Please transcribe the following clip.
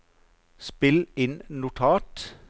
spill inn notat